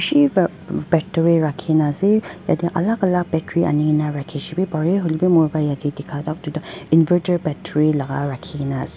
bisi para battery rakhi kina ase jatte alag alag battery ani kina rakhi sebe pare hoile bhi mur khan ke jatte dekha tu inverter battery rakhi kina ase.